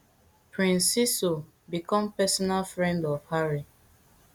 prince seeiso become personal friend of harry